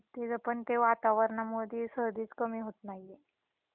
हम्म तिच पण ते वातावरणामुळे सर्दीच कमी होत नाहीये.